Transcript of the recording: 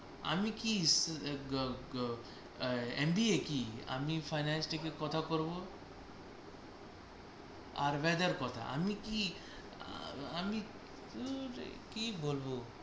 আমি কি গ গ গ আর MBA কি আমি finance টিকে কথা করব। আর weather কোথা? আমি কি আমি দূর এ কি বলব।